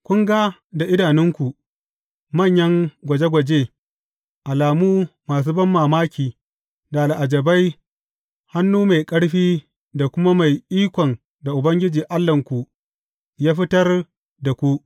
Kun ga da idanunku, manyan gwaje gwaje, alamu masu banmamaki da al’ajabai, hannu mai ƙarfi da kuma mai ikon da Ubangiji Allahnku ya fitar da ku.